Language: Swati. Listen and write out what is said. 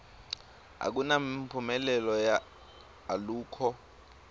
akunamphumelelo alukho